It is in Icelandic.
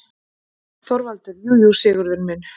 ÞORVALDUR: Jú, jú, Sigurður minn.